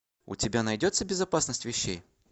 у тебя найдется безопасность вещей